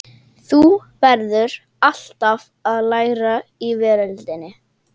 Þú verður alltaf að læra í veröldinni.